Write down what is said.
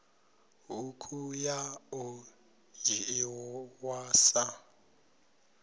ṱhukhu ya ḓo dzhiiwa sa